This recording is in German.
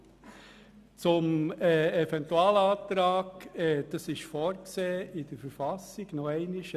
Die Möglichkeit eines Eventualantrags ist in der Verfassung des Kantons Bern (KV) vorgesehen.